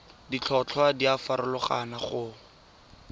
ditlhotlhwa di a farologana go